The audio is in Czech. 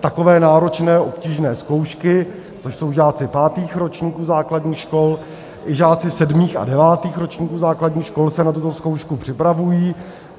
takové náročné obtížné zkoušky, což jsou žáci pátých ročníků základních škol, také žáci sedmých a devátých ročníků základních škol se na tuto zkoušku připravují.